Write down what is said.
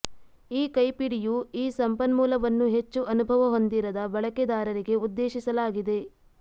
ಈ ಕೈಪಿಡಿಯು ಈ ಸಂಪನ್ಮೂಲವನ್ನು ಹೆಚ್ಚು ಅನುಭವ ಹೊಂದಿರದ ಬಳಕೆದಾರರಿಗೆ ಉದ್ದೇಶಿಸಲಾಗಿದೆ